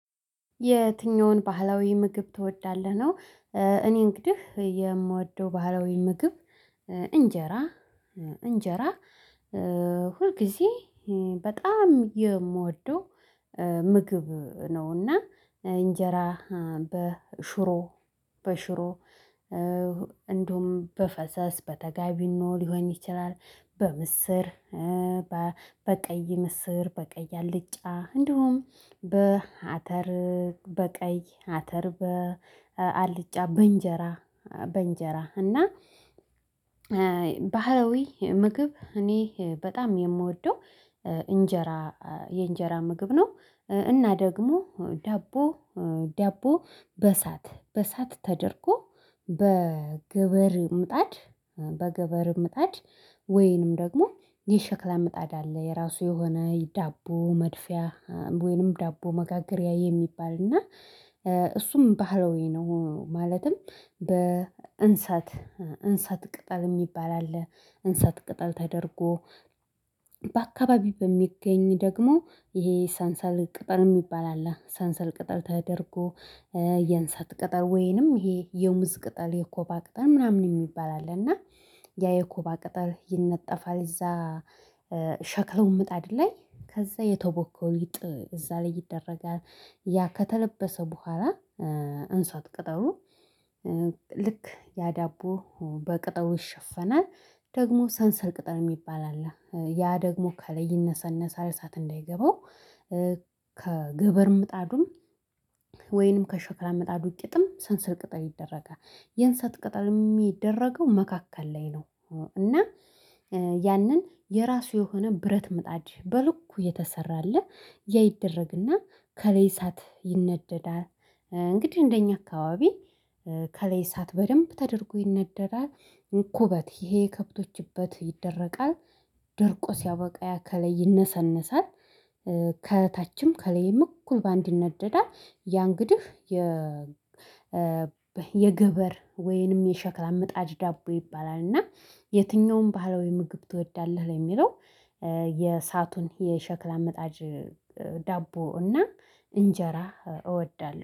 የትኛውን ባህላዊ ምግብ ትወዳለህ? ነው እኔ እንግዲህ የምወደው ባህላዊ ምግብ እንጀራ እንጀራ ሁልጊዜ በጣም የምወደው ምግብ ነውና እንጀራ በሽሮ በሽሮ እንደውም በፈሰስ በተጋቢኖ ሊሆን ይችላል በምስር በቀይ ምስር በቀይ አልጫ እንዲሁም በአተር በቀይ አተር በአልጫ በእንጀራ በእንጀራ እና ባህላዊ ምግብ እኔ በጣም የምወደው እንጀራ የእንጀራ ምግብ ነው እና ደግሞ ዳቦ ዳቦ በእሳት በእሳት ተደርጎ በግብር ምጣድ በግብር ምጣድ ወይንም ደግሞ የሸክላ ምጣድ አለ የራሱ የሆነ ዳቦ መድፊያ ወይንም ዳቦ መጋገሪያ የሚባል እና እሱም ባህሎዊ ነው ማለትም በእንሰት እንሳት ቅጠል የሚባል አለ እንሳት ቅጠል ተደርጎ በአካባቢው በሚገኝ ደግሞ ይሄ ሳንሰል ቅጠል የሚባል አለ ሳንሰል ቅጠል ተደርጎ የንሰት ቅጠል ወይንም ይሄ የሙዝ ቅጠል የኮባ ቅጠል ምናምን የሚባል አለ እና ያ የኮባ ቅጠል ይነጠፋል እዛ ሸክለው ምጣድ ላይ ከዛ የተቦካው ሊጥ እዛ ላይ ይደረጋል ያ ከተለበሰ በኋላ እንሷት ቅጠሉ ልክ ያ ዳቦ በቅጠቡ ይሸፈናል ደግሞ ሰንሰል ቅጠል የሚባል አለ ያ ደግሞ ከለይ ይነሰነሳል እሳት እንዳይገባው ከግብር ምጣዱም ወይንም ከሸክላ ምጣዱ ቂጥም ሰንስር ቅጠል ይደረጋል የንስሐት ቅጠል የሚደረገው መካከል ላይ ነው እና ያንን የራሱ የሆነ ብረት ምጣጅ በልኩ የተሰራ አለ ያ ይደረግና ከላይ እሳት ይነደዳል እንግዲህ እንደኛ አካባቢ ከላይ እሳት በደንብ ተደርጎ ይነደዳል እንኩበት ይሄ ከብቶች እበት ይደረቃል ደርቆ ሲያበቃ ያከለ ይነሰነሳል ከታችም ከሌም እኩል በአንድ ይነደዳል ያን ግድህ የ የገበር ወይንም የሸክላ ምጣጅ ዳቦ ይባላል እና የትኛውም ባህላዊ ምግብ ትወዳለህ ለሚለው የሳቱን የሸክላ መጣጅ ዳቦ እና እንጀራ እወዳለሁ